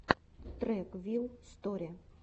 трек вил сторе